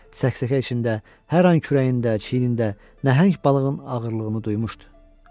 Çəksəkə içində hər an kürəyində, çiynində nəhəng balığın ağırlığını duyurdu.